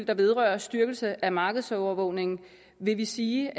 der vedrører styrkelse af markedsovervågningen vil vi sige